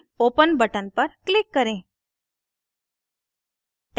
open button पर click करें